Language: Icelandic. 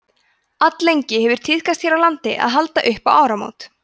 alllengi hefur tíðkast hér á landi að halda upp á áramót